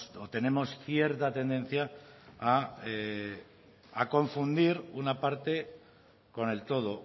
o tenemos cierta tendencia a confundir una parte con el todo